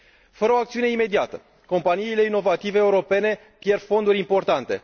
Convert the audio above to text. Fără o acțiune imediată, companiile inovative europene pierd fonduri importante.